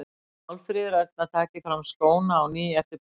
Að Málfríður Erna taki fram skóna á ný eftir barnsburð.